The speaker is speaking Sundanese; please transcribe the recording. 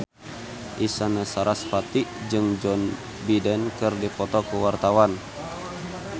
Isyana Sarasvati jeung Joe Biden keur dipoto ku wartawan